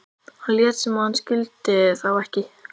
Hann lét sem hann skildi þá ekki.